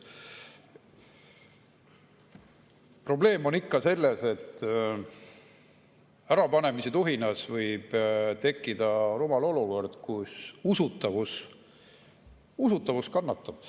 Probleem on selles, et ärapanemistuhinas võib tekkida rumal olukord, kus usutavus kannatab.